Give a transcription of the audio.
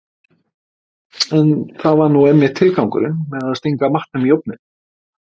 En það var nú einmitt tilgangurinn með að stinga matnum í ofninn.